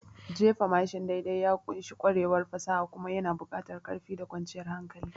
Jefa mashin daidai ya ƙunshi ƙwarewar fasaha kuma yana buƙatar ƙarfi da kwanciyar hankali.